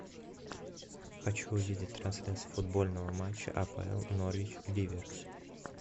хочу увидеть трансляцию футбольного матча апл норвич ливер